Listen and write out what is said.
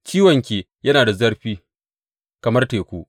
Ciwonki yana da zurfi kamar teku.